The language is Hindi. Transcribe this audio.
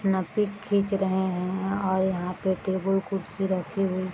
अपना पिक खींच रहे है और यहां पे टेबुल कुर्सी रखी हुई --